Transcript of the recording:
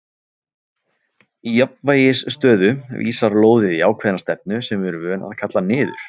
Í jafnvægisstöðu vísar lóðið í ákveðna stefnu sem við erum vön að kalla niður.